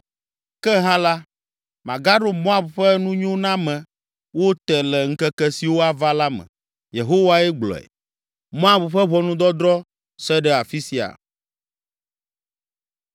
“Ke hã la, magaɖo Moab ƒe nunyonamewo te le ŋkeke siwo ava la me.” Yehowae gblɔe. Moab ƒe ʋɔnudɔdrɔ̃ se ɖe afi sia.